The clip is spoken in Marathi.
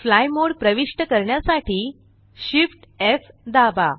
फ्लाय मोड प्रविष्ट करण्यासाठी Shift एफ दाबा